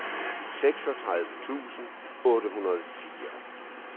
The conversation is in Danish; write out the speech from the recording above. seksogtredive tusind otte hundrede og fire